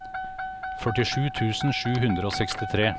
førtisju tusen sju hundre og sekstitre